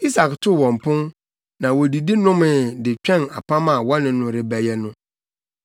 Isak too wɔn pon, na wodidi nomee de twɛn apam a wɔne no rebɛyɛ no.